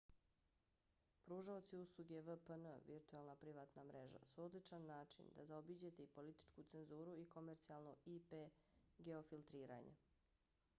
pružaoci usluge vpn virtuelna privatna mreža su odličan način da zaobiđete i političku cenzuru i komercijalno ip-geofiltriranje